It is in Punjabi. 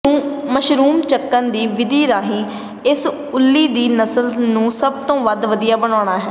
ਮਸ਼ਰੂਮ ਚੁੱਕਣ ਦੀ ਵਿਧੀ ਰਾਹੀਂ ਇਸ ਉੱਲੀ ਦੇ ਨਸਲ ਨੂੰ ਸਭ ਤੋਂ ਵਧੀਆ ਬਣਾਉਣਾ ਹੈ